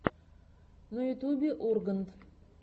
на ютюбе ургант